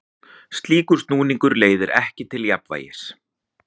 Slíkur snúningur leiðir ekki til jafnvægis.